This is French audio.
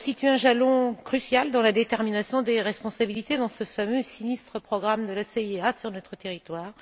Il a constitué un jalon crucial dans la détermination des responsabilités dans ce fameux et sinistre programme de la CIA sur notre territoire.